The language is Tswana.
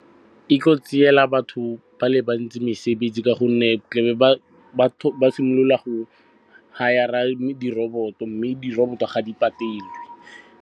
E tlo tsela batho ba le bantsi mesebetsi ka gonne tle be ba simolola go hire-a di-robot-o, mme di-robot-o ga di patelwe.